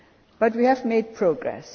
But we have made progress.